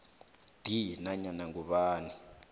d nanyana ngubani